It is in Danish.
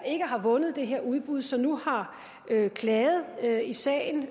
ikke har vundet det her udbud og som nu har klaget i sagen